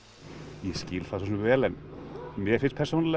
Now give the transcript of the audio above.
ég skil það svo sem vel mér finnst persónulega